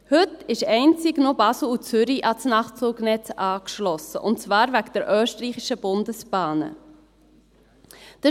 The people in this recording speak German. Heute sind einzig noch Basel und Zürich an das Nachtzugnetz angeschlossen, und zwar wegen den Österreichischen Bundesbahnen (ÖBB).